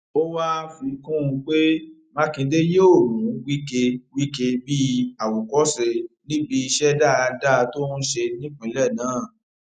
ó wàá fi kún un pé mákindé yóò mú wike wike bíi àwòkọṣe níbi iṣẹ dáadáa tó ń ṣe nípìnlẹ náà